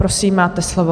Prosím, máte slovo.